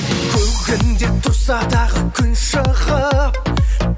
көгіңде тұрса дағы күн шығып